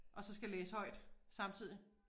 Og så skal læse højt samtidigt